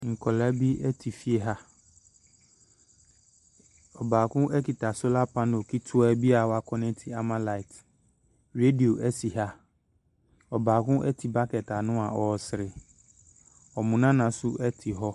Nkwadaa bi te fie ha. Ɔbaako kita solar panel ketewa bi a wɔkɔnɛte ama light. Radio si ha. Ɔbaako te bucket ano a ɔresere. Wɔn nana nso te hɔ.